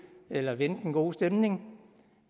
eller vende den gode stemning